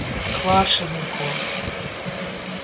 Hvar sem hún kom?